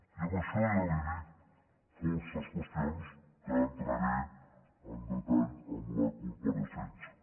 i amb això ja li dic força qüestions que hi entraré en detall en la compareixença